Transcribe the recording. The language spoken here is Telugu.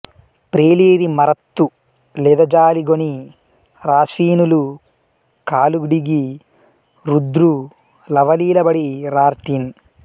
ప్రేలిరి మరుత్తు లెదజాలిగొని రాశ్వినులు కాలుడిగి రుద్రు లవలీలబడి రార్తిన్